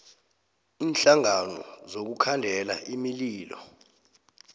iinhlangano zokukhandela imililo